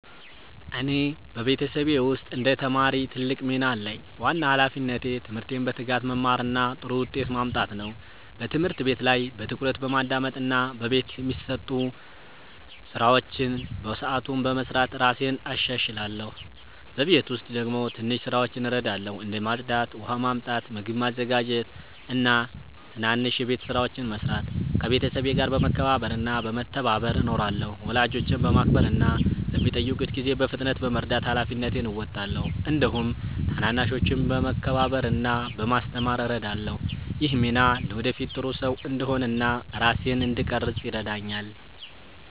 እኔ በቤተሰቤ ውስጥ እንደ ተማሪ ትልቅ ሚና አለኝ። ዋና ሃላፊነቴ ትምህርቴን በትጋት መማር እና ጥሩ ውጤት ማምጣት ነው። በትምህርት ቤት ላይ በትኩረት በማዳመጥ እና በቤት የሚሰጡ ስራዎችን በሰዓቱ በመስራት እራሴን እሻሻላለሁ። በቤት ውስጥ ደግሞ ትንሽ ስራዎችን እረዳለሁ፣ እንደ ማጽዳት፣ ውሃ ማመጣት፣ ምግብ ማዘጋጀት እና ትናንሽ የቤት ስራዎችን መስራት። ከቤተሰቤ ጋር በመከባበር እና በመተባበር እኖራለሁ። ወላጆቼን በማክበር እና በሚጠይቁት ጊዜ በፍጥነት በመርዳት ሃላፊነቴን እወጣለሁ። እንዲሁም ታናናሾችን በመከባበር እና በማስተማር እረዳለሁ። ይህ ሚና ለወደፊት ጥሩ ሰው እንድሆን እና ራሴን እንድቀርፅ ይረዳኛል።